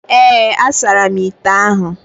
Ee, a saramu ite ahụ